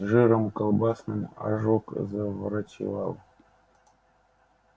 жиром колбасным ожог заврачевал